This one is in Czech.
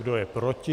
Kdo je proti?